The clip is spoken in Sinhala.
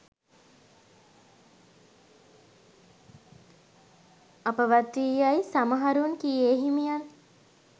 අපවත් වී යැයි සමහරුන් කී ඒ හිමියන්